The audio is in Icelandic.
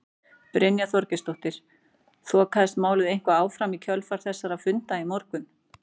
Brynja Þorgeirsdóttir: Þokaðist málið eitthvað áfram í kjölfar þessara funda í morgun?